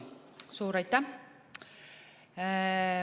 Suur aitäh!